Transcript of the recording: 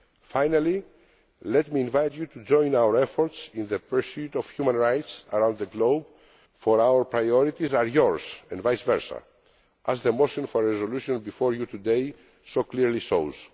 Finally, let me invite you to join our efforts in the pursuit of human rights around the globe, for our priorities are yours, and vice versa, as the motion for a resolution before you today so clearly shows.